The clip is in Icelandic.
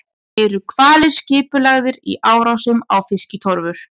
Eru hvalir skipulagðir í árásum á fiskitorfur?